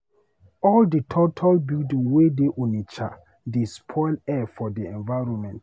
All di tall tall building wey dey Onitsha dey spoil air for di environment.